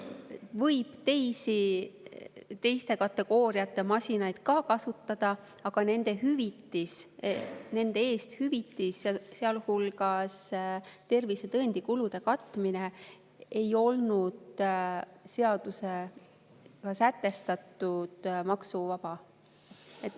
Võib ka teiste kategooriate masinaid kasutada, aga nende eest hüvitis, sealhulgas tervisetõendi kulude katmine, ei olnud seadusega sätestatult maksuvaba.